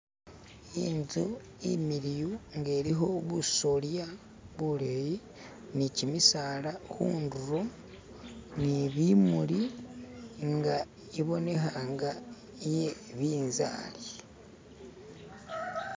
Inzu imiliyu nga ilikho busolya buleyi ni kimisala khundulo ni bimuli nga kibonekha nga binzari.